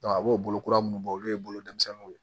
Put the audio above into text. a b'o bolo kura minnu bɔ olu ye bolofɛnw ye